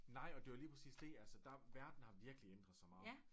Nej og det jo lige præcis det altså der verden har virkelig ændret sig meget